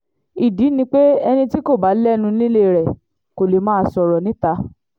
ìdí ni pé ẹni tí kò bá lẹ́nu nílé rẹ̀ kò lè máa sọ̀rọ̀ níta